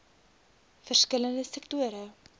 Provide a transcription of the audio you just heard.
verskil lende sektore